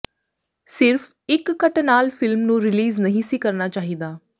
ਸਿਰਫ ਇੱਕ ਕੱਟ ਨਾਲ ਫਿਲਮ ਨੂੰ ਰਿਲੀਜ਼ ਨਹੀਂ ਸੀ ਕਰਨਾ ਚਾਹੀਦਾ